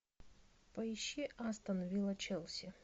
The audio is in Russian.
поищи астон вилла челси